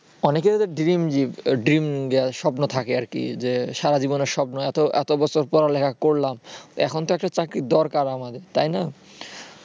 অনেকের dream স্বপ্ন থাকে আরকি যে সারাজীবনের স্বপ্ন এত বছর পড়ালেখা করলাম এখন তো একটা চাকরির দরকার আমার তাই না?